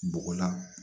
Bɔgɔ la